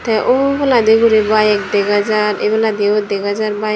te ubaladi guri bike dega jar ebeladiyo dega jar bike.